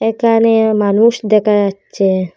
একানে মানুষ দেকা যাচ্ছে।